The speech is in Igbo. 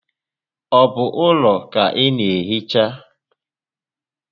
Ọ bụ ụlọ ka ị naa ehicha?